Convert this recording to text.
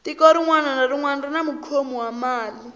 tiko rinwani na rinwani rini mukhomi wa mali